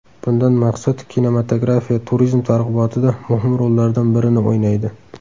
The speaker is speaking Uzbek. Bundan maqsad kinematografiya turizm targ‘ibotida muhim rollardan birini o‘ynaydi.